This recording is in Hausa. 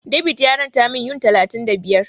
David ya ranta min Yuan talatin da biyar.